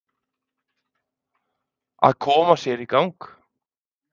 Að koma sér í gang